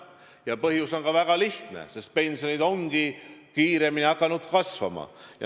Ja põhjus on väga lihtne: pensionid on hakanud kiiremini kasvama.